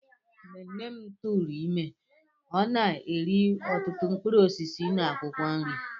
Mgbe nne m tụụrụ ime, ọ na-eri ọtụtụ mkpụrụ osisi na akwụkwọ nri.